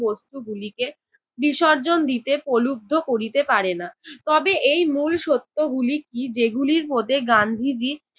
বস্তুগুলিকে বিসর্জন দিতে প্রলুব্ধ করিতে পারে না, তবে এই মূল সত্য গুলি কী যে গুলির মধ্যে গান্ধীজী